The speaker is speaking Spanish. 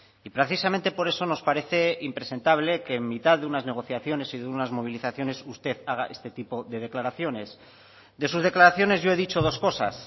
y precisamente por eso nos parece impresentable que en mitad de unas negociaciones y de unas movilizaciones usted haga este tipo de declaraciones de sus declaraciones yo he dicho dos cosas